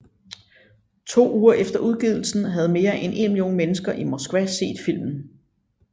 To uger efter udgivelsen havde mere end 1 million mennesker i Moskva set filmen